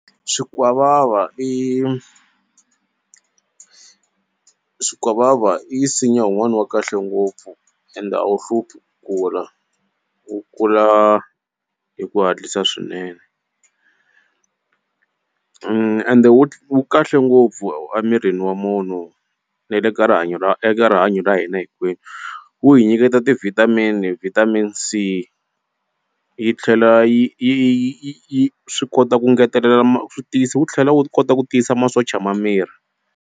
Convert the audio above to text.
Swikwavava i swikwavava i nsinya wun'wani wa kahle ngopfu ende a wu hluphi kula wu kula hi ku hatlisa swinene ende wu kahle ngopfu emirini wa munhu ne le ka rihanyo ra eka rihanyo ra hina hinkwenu wu hi nyiketa ti vitamin-i vitamin c yi tlhela yi yi yi yi swi kota ku ngetelela ma wu tlhela wu kota ku tiyisa masocha ma miri.